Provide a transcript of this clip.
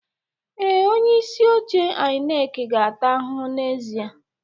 Ee, onye isi oche INEC ga-ata ahụhụ n'ezie